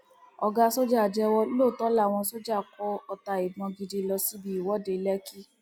ọgá ṣọjà jẹwọ lóòótọ làwọn sójà kó ọta ìbọn gidi lọ síbi ìwọde lẹkì